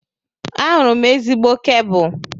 Ahụrụ m ezigbo kebụl.